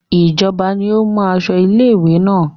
Ìjọba ni ó mú aṣọ ilé-ìwé náà.